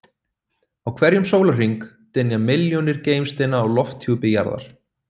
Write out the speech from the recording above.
Á hverjum sólarhring dynja milljónir geimsteina á lofthjúpi jarðar.